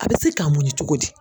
A bɛ se k'a munɲu cogo di.